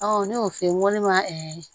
ne y'o f'i ye n ko ne ma